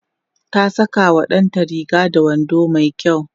ta Saka wa ɗanta Riga da wando mai kyau